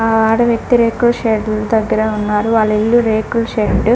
ఆ ఆడ వ్యక్తి రేకుల షెడ్ దగ్గర ఉన్నారు. వాళ్ళ ఇల్లు రేకుల షెడ్డు --